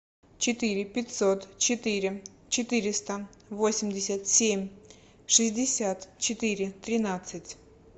четыре пятьсот четыре четыреста восемьдесят семь шестьдесят четыре тринадцать